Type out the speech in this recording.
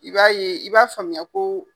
I b'a ye i b'a faamuya ko